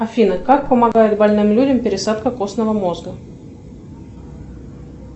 афина как помогает больным людям пересадка костного мозга